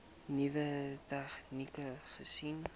nuwe tegnieke gesien